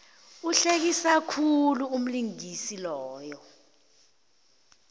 uhlekisa khulu umlingisi loya